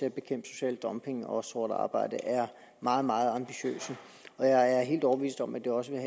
at bekæmpe social dumping og sort arbejde er meget meget ambitiøse og jeg er helt overbevist om at de også vil